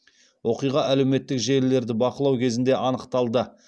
оқиға әлеуметтік желілерді бақылау кезінде анықталды